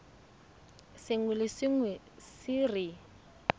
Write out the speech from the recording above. sengwe le sengwe se re